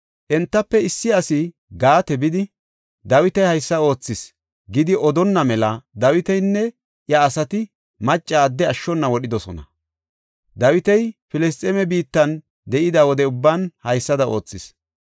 Entafe issi asi Gaate bidi, “Dawiti haysa oothis” gidi odonna mela Dawitinne iya asati macca adde ashshona wodhidosona. Dawiti Filisxeeme biittan de7ida wode ubban haysada oothis.